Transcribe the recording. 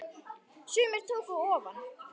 Sumir tóku ofan!